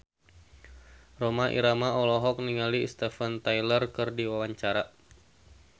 Rhoma Irama olohok ningali Steven Tyler keur diwawancara